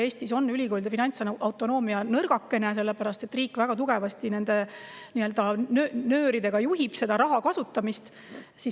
Eestis on ülikoolide finantsautonoomia nõrgakene, sellepärast et riik väga tugevasti nii-öelda nööre, juhib raha kasutamist.